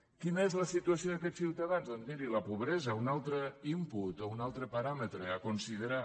quina és la situació d’aquests ciutadans doncs miri la pobresa un altre input un altre paràmetre a considerar